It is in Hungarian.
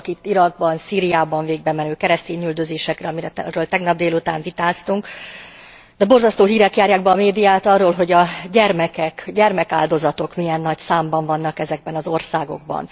Gondolok itt az Irakban, Szíriában végbemenő keresztényüldözésekre, amiről tegnap délután vitáztunk, de borzasztó hírek járják be a médiát arról, hogy a gyermekek, gyermekáldozatok milyen nagy számban vannak ezekben az országokban.